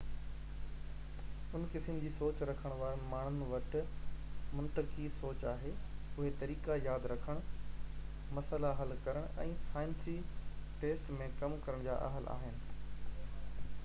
ان قسم جي سوچ رکڻ وارن ماڻهن وٽ منطقي سوچ آهي اهي طريقا ياد رکڻ مسئلا حل ڪرڻ ۽ سائنسي ٽيسٽ ۾ ڪم ڪرڻ جي اهل آهن